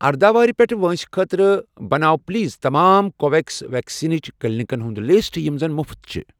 اردَہ وُہُر پیٚٹھہٕ وٲنٛسہِ خٲطرٕ بناو پلیز تمام کو وِو ویٚکس ویکسِنیشن کلینکَن ہُنٛد لسٹ یِم زَن مفت چھِ ۔